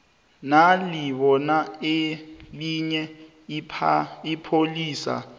nalibona elinye ipholisa